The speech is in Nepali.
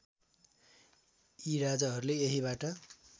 यि राजाहरूले यहीँबाट